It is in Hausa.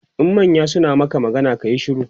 in manya suna Maka magana kayi shiru